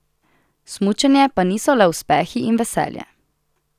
Smučanje pa niso le uspehi in veselje.